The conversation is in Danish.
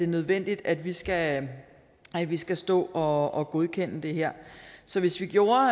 nødvendigt at vi skal vi skal stå og godkende det her så hvis vi gjorde